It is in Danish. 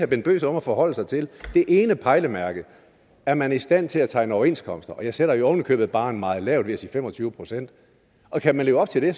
bent bøgsted om at forholde sig til det ene pejlemærke er man i stand til at tegne overenskomster jeg sætter jo ovenikøbet barren meget lavt ved at sige fem og tyve procent kan man leve op til det